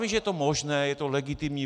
Vím, že je to možné, je to legitimní.